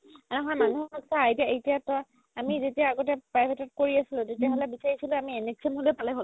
এ নহয় মানুহক চা এতিয়া তই আমি যেতিয়া আগতে private ত কৰি আছিলো তেতিয়া হ'লে বিচাৰিছিলো আমি NHM হ'লেও পালে হ'ল